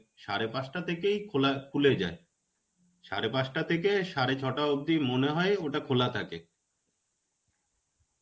সাড়ে পাঁচটা থেকেই খোলা~ খুলে যায়. সাড়ে পাঁচটা থেকে সাড়ে ছয়টা অবধি মনে হয় ওটা খোলা থাকে.